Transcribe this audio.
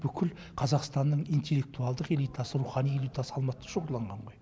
бүкіл қазақстанның интеллектуалдық элитасы рухани элитасы алматыда шоғырланған ғой